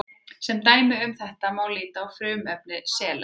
sem dæmi um þetta má líta á frumefni selen